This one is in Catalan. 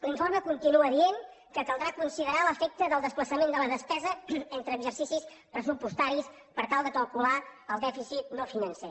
l’informe continua dient que caldrà considerar l’efecte del desplaçament de la despesa entre exercicis pressupostaris per tal de calcular el dèficit no financer